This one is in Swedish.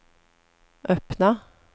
öppna